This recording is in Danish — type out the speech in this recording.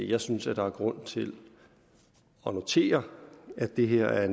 jeg synes at der er grund til at notere at det her er